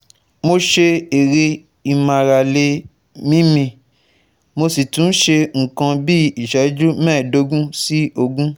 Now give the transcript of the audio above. Mo ṣe eré ìmárale míímí, mo sì tún ṣe nǹkan bí iṣẹju mẹ́ẹ̀ẹ́dógún sí ogún